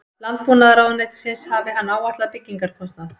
Landbúnaðarráðuneytisins hafi hann áætlað byggingarkostnað